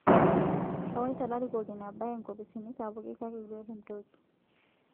Ewaita larikok ina bae nkopisini sapuki kake eitu etum toki